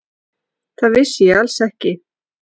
Það vissi ég alls ekki.